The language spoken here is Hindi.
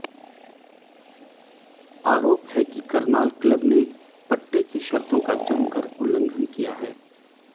आरोप है कि करनाल क्लब ने पट्टे की शर्तों का जमकर उल्लंघन किया है